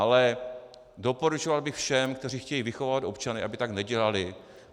Ale doporučoval bych všem, kteří chtějí vychovávat občany, aby tak nedělali.